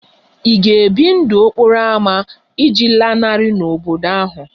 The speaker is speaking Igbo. Ị ga-ebi ndụ n'okporo ámá iji lanarị n'obodo ahụ?